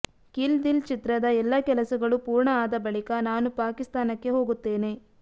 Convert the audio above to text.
kill Dil ಚಿತ್ರದ ಎಲ್ಲ ಕೆಲಸಗಳು ಪೂರ್ಣ ಆದ ಬಳಿಕ ನಾನು ಪಾಕಿಸ್ತಾನಕ್ಕೆ ಹೋಗುತ್ತೇನೆ